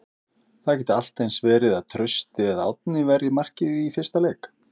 Það gæti allt eins verið að Trausti eða Árni verji markið í fyrsta leik?